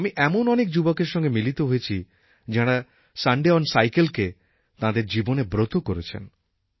আমি এমন অনেক যুবকের সঙ্গে মিলিত হয়েছি যাঁরা সান্ডে ওন Cycleকে তাঁদের জীবনের ব্রত করেছেন